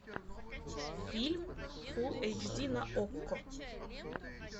фильм фулл эйч ди на окко